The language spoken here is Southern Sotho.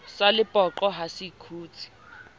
sa lepoqo ha se kgutse